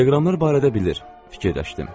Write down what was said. Telegramlar barədə bilir, fikirləşdim.